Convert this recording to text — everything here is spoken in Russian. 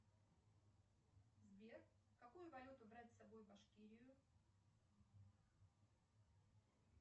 сбер какую валюту брать с собой в башкирию